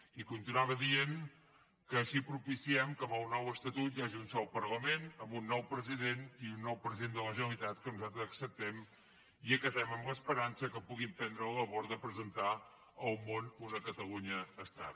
i continuava dient així propiciem que amb el nou estatut hi hagi un sol parlament amb un nou president i un nou president de la generalitat que nosaltres acceptem i acatem amb l’esperança que pugui emprendre la labor de presentar al món una catalunya estat